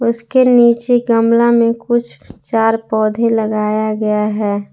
उसके नीचे गमला में कुछ चार पौधे लगाया गया है।